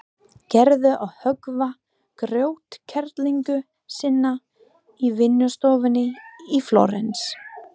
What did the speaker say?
Gerður að höggva grjótkerlingu sína í vinnustofunni í Flórens.